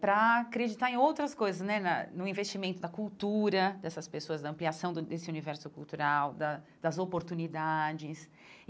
para acreditar em outras coisas né, na no investimento da cultura, dessas pessoas, da ampliação desse universo cultural, da das oportunidades.